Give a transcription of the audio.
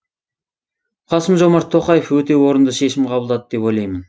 қасым жомарт тоқаев өте орынды шешім қабылдады деп ойлаймын